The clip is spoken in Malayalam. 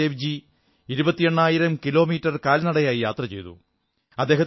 ഗുരുനാനക് ദേവ്ജി ഇരുപത്തി എണ്ണായിരം കിലോമീറ്റർ കാൽനടയായി യാത്ര ചെയ്തു